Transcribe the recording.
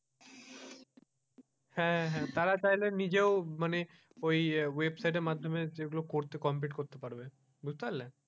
হ্যাঁ হ্যাঁ তারা তাইলে নিজেও মানে ওই ওয়েবসাইটের মাধ্যমে যেগুলো complete করতে পারবে বুঝতে পারলে?